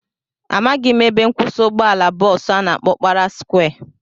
Amaghị m ebe nkwụsị ụgbọala bọọsu a na-akpọ Ọkpara skwịe